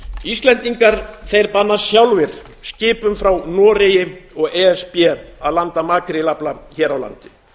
íslendingar banna sjálfir skipum frá noregi og e s b að landa makrílafla hér á landi